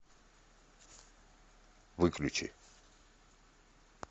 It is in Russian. выключи